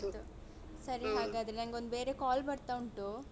ಸರಿ ಹಾಗಾದ್ರೆ ನಂಗೊಂದು ಬೇರೆ call ಬರ್ತಾ ಉಂಟು.